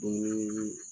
Dumuni